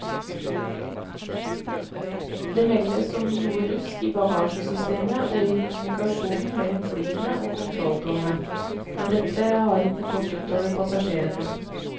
Det meldes om noe rusk i bagasjesystemet og i kommunikasjonen mellom flyene og kontrolltårnet, men dette har ikke gått utover passasjerene.